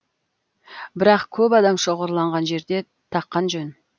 бірақ көп адам шоғырланған жерде таққан жөн